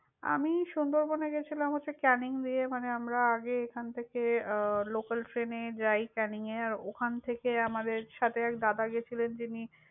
আমি সুন্দরবনে গেছিলাম হচ্ছে ক্যানিং দিয়ে মানে আমরা আগে এখান থেকে আহ local train এ যাই ক্যানিংয়ে। ওখান থেকে আমাদের সাথে এক দাদা গিয়েছিলেন যিনি।